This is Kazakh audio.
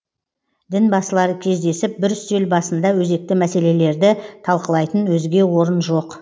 дінбасылары кездесіп бір үстел басында өзекті мәселелерді талқылайтын өзге орын жоқ